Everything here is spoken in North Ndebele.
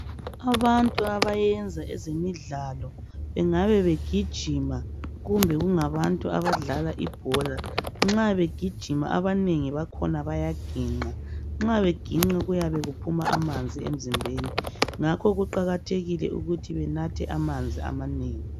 Abantu abayenza ezemidlalo bengabe begijima kumbe kungabantu abadlala ibhola, nxa begijima abanengi bakhona bayaginqa. Nxa beginqa kuyabe kuphuma amanzi emzimbeni ngakho kuqakathekile ukuthi benathe amanzi amanengi.